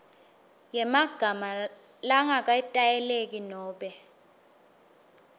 yemagama langaketayeleki nobe